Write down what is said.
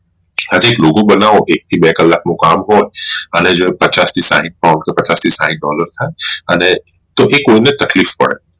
અને લોકો બનાવો એક થી બે કલાક નું હોઈ અને જો પચાસ થી સાહીઠ નવસો પચાસ થી સાહીઠ dollar થઇ અને તો એ કોઈ ને તકલીફ પડે